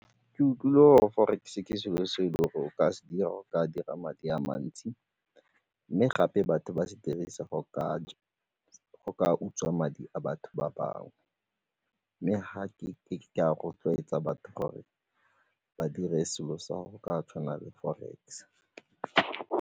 Ke utlwile mo forex-e ke selo se le o ka se dira, o ka dira madi a mantsi mme gape batho ba se dirisa go ka utswa madi a batho ba bangwe mme ga ke a rotloetsa batho gore ba dire selo sa go ka tshwana le forex.